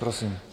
Prosím.